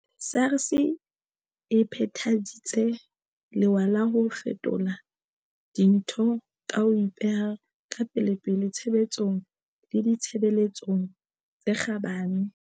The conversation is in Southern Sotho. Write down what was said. SARS e phethaditse lewa la ho fetola dintho ka ho ipeha ka pelepele tshebetsong le ditshebeletsong tse kgabane.